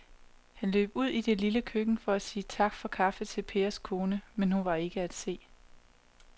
Han løb ud i det lille køkken for at sige tak for kaffe til Pers kone, men hun var ikke til at se.